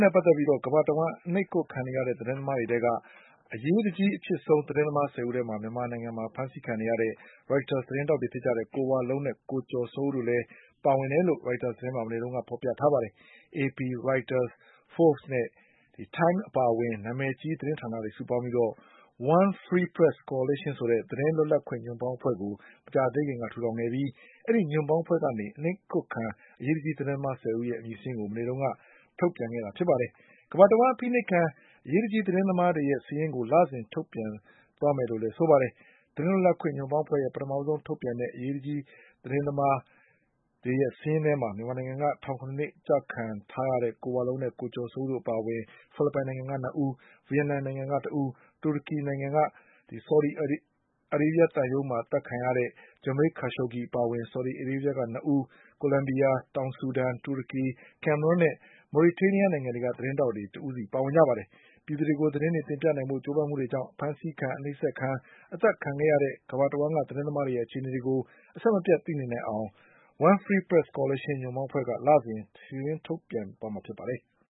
နဲ့ ပတ်သက်ပြီး ကမ္ဘာတဝှမ်း အနှိပ်ကွပ်ခံနေရတဲ့ သတင်းသမားတွေထဲက အရေးတကြီးအဖြစ်ဆုံး သတင်းသမား ၁၀ ဦးထဲမှာ မြန်မာနိုင်ငံက အဖမ်းခံနေရတဲ့ Reuters သတင်းထောက် ကိုဝလုံးနဲ့ ကိုကျော်စိုးဦးတို့လည်း ပါဝင်တယ်လို့ Reuters သတင်းမှာ မနေ့ကဖေါ်ပြထားပါတယ်။ AP, Reuters, Fobes နဲ့ Time အပါအဝင် နာမည်ကြီး သတင်းဌာနတွေ စုပေါင်းပြီး One Free Press Coalition ဆိုတဲ့ သတင်း လွတ်လပ်ခွင့် ညွန့်ပေါင်းအဖွဲ့ကို မကြာသေးခင်က ထူထောင်ခဲ့ပြီး ဒီညွန့်ပေါင်းအဖွဲ့ကနေ အနှိပ်ကွပ်ခံ အရေးတကြီး သတင်းသမား ၁၀ ဦး ရဲ့ အမည်စာရင်းကို မနေ့က ထုတ်ပြန်ခဲ့တာပါ။ ကမ္ဘာတဝှမ်း အဖိနှိပ်ခံ အရေးတကြီး သတင်းသမားတွေရဲ့ စာရင်းကို လစဉ်ထုတ်ပြန်သွားမယ်လို့ ဆိုပါတယ်။ သတင်းလွတ်လပ်ခွင့် ညွန့်ပေါင်းအဖွဲ့ရဲ့ ပထမဆုံး ထုတ်ပြန်တဲ့ အရေးတကြီး သတင်းသမားတွေရဲ့စာရင်းထဲမှာ မြန်မာနိုင်ငံက ထောင် ၇ နှစ်ချခံထားရတဲ့ ကိုဝလုံးနဲ့ ကိုကျော်စိုးဦးတို့ ၂ဦးအပါအဝင်၊ ဖိလစ်ပိုင်နိုင်ငံက ၂ ဦး၊ ဗီယက်နမ်နိုင်ငံက ၁ဦး၊ တူရကီနိုင်ငံက ဆော်ဒီသံရုံးမှာ အသတ်ခံလိုက်ရတဲ့ Jamal Khashoggi အပါအဝင် ဆော်ဒီအာရေးဗျက ၂ဦး၊ ကိုလံဘီယာ၊ တောင်ဆူဒန်၊ တူရကီ၊ ကမ်မရွမ်းနဲ့ မော်ရီတေးနီးယားနိုင်ငံတွေက သတင်းထောက်တဦးစီပါဝင်ပါတယ်။ ပြည်သူတွေကို သတင်းတွေ တင်ပြနိုင်ဖို့ ကြိုးပမ်းမှုကြောင့် အဖမ်းဆီးခံ၊ အနှိပ်စက်ခံ၊ အသတ်ခံခဲ့ရတဲ့ ကမ္ဘာတဝှမ်းက သတင်းသမားတွေရဲ့ အခြေအနေတွေကို အဆက်မပြတ်သိနေနိုင်အောင် One Free Press Coalition ညွန့်ပေါင်းအဖွဲ့က လစဉ် စာရင်းထုတ်ပြန်သွားမှာဖြစ်ပါတယ်။